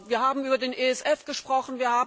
Wir haben über den ESF gesprochen.